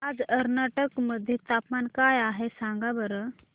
आज कर्नाटक मध्ये तापमान काय आहे सांगा बरं